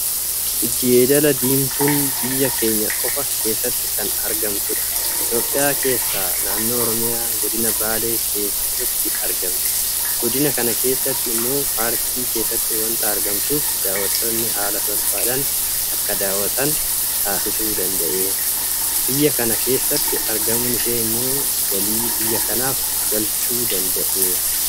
Jeedala diimtuun biyya keenya qofa keessattu kan argamtudha. Itoophiyaa keessaa naannoo Oromiyaa Godina Baalee keessatti argamti. Godina kana keessaa immoo paarkii keessatti waanta argamtuuf daawwattonni haala salphaadhaan akka daawwatan taasisuu danda'eera. Biyya kana keessatti argamuun ishee immoo galii biyya kanaaf galchuu danda'eera.